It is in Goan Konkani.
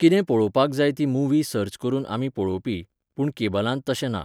कितें पळोवपाक जाय ती मुव्ही सर्च करून आमी पळोवपी, पूण केबलांत तशें ना.